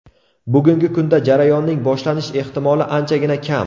Bugungi kunda jarayonning boshlanish ehtimoli anchagina kam.